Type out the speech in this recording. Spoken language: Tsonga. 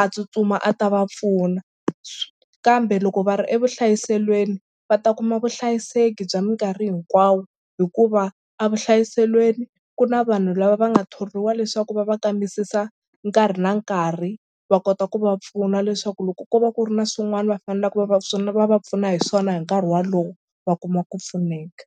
a tsutsuma a ta va pfuna kambe loko va ri evuhlayiselweni va ta kuma vuhlayiseki bya mikarhi hinkwawo hikuva a vuhlayiselweni ku na vanhu lava va nga thoriwa leswaku va va kambisisa nkarhi na nkarhi va kota ku va pfuna leswaku loko ko va ku ri na swin'wana va fanelaka va va swona va va pfuna hi swona hi nkarhi walowo va kuma ku pfuneka.